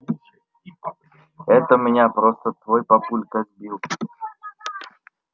это меня просто твой папулька сбил